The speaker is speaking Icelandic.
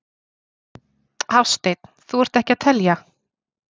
Hafsteinn: Þú ert ekki að telja?